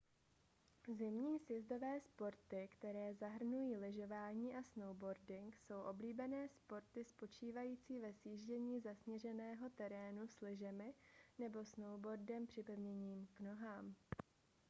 zimní sjezdové sporty které zahrnují lyžování a snowboarding jsou oblíbené sporty spočívající ve sjíždění zasněženého terénu s lyžemi nebo snowboardem připevněným k nohám